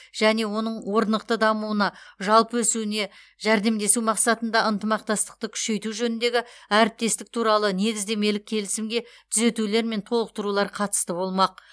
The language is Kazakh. және оның орнықты дамуына жалпы өсуіне жәрдемдесу мақсатында ынтымақтастықты күшейту жөніндегі әріптестік туралы негіздемелік келісімге түзетулер мен толықтырулар қатысты болмақ